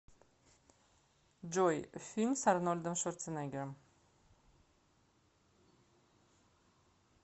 джой фильм с арнольдом шварцнегером